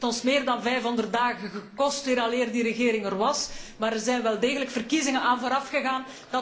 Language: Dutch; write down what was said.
Het heeft ons meer dan 500 dagen gekost vooraleer die regering er was, maar er zijn wel degelijk verkiezingen aan voorafgegaan.